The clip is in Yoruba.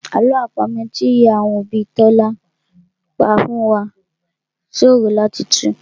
Àlọ́ àpamọ́ náà tí ìyá àwọn òbí Tọ́lá pa fún wá ṣòro láti tù